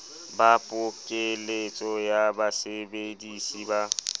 ba pokeletso ya basebedisi ba